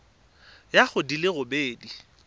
ya go di le robedi